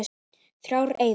Þrjár eyður.